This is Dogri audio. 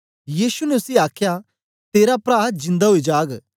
यीशु ने उसी आखया तेरा प्रा जिंदा ओई जाग